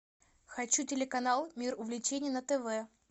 хочу телеканал мир увлечений на тв